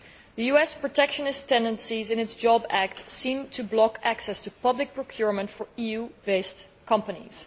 The protectionist tendencies in the US Jobs Act seem to block access to public procurement for EU based companies.